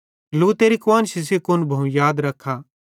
लूतेरी कुआन्शी सेइं कुन भोवं याद रख्खा